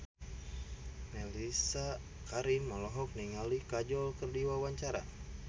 Mellisa Karim olohok ningali Kajol keur diwawancara